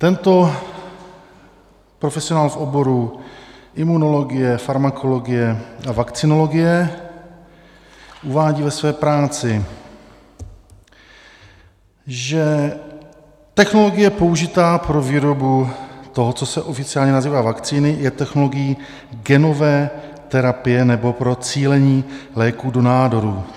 Tento profesionál v oboru imunologie, farmakologie a vakcinologie uvádí ve své práci, že "technologie použitá pro výrobu toho, co se oficiálně nazývá vakcíny, je technologií genové terapie nebo pro cílení léků do nádorů.